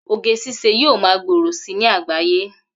Oge ṣiṣẹ́ yóò ma gbòòrò si ní àgbáyé